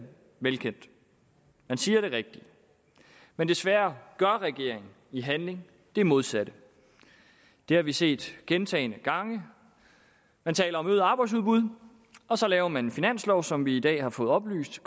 velkendt man siger det rigtige men desværre gør regeringen i handling det modsatte det har vi set gentagne gange man taler om øget arbejdsudbud og så laver man en finanslov som vi i dag har fået oplyst